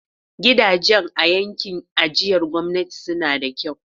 Gidajen a yankin ajiyar gwamnati suna da kyau.